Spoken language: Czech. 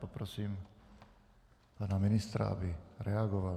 Poprosím pana ministra, aby reagoval.